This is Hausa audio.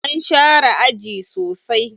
An share aji sosai.